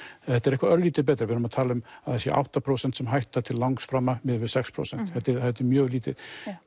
þetta er eitthvað örlítið betra við erum að tala um að það séu átta prósent sem hætta til miðað við sex prósent þetta er þetta er mjög lítið